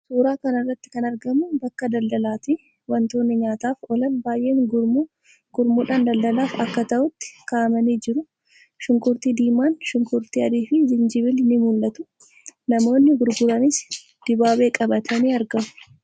Suuraa kana irratti kan argamu bakka daldalaati. Wantoonni nyaataaf oolan baay'een gurmuu gurmuudhaan daldalaaf akka ta'utti kaa'amanii jiru. Shunkurtii diimaan, shunkurtii adiifi jinjibilli ni mul'atu. Namoonni gurguranis dibaabee qabatanii argamu.